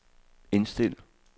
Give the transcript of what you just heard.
indstil